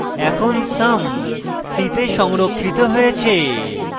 এখানে sum c তে সংরক্ষিত হয়েছে